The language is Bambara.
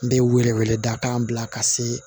N bɛ wele wele da kan bila ka se